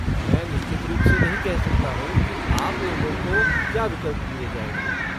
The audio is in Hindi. मैं निश्चित रूप से नहीं कह सकता हूँ कि आप लोगों को क्या विकल्प दिए जाएंगे।